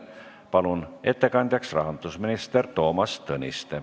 Palun ettekandjaks rahandusminister Toomas Tõniste.